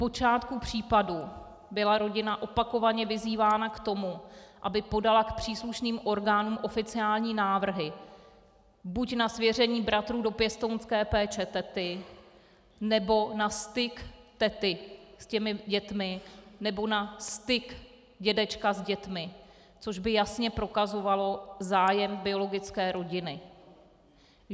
Odpočátku případu byla rodina opakovaně vyzývána k tomu, aby podala k příslušným orgánům oficiální návrhy buď na svěření bratrů do pěstounské péče tety, nebo na styk tety s těmi dětmi, nebo na styk dědečka s dětmi, což by jasně prokazovalo zájem biologické rodiny.